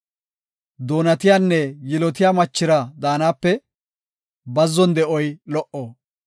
Doonatiyanne yilotiya machira daanape bazzon de7oy lo77o.